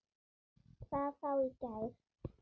Hvað þá í gær.